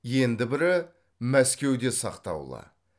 енді бірі мәскеуде сақтаулы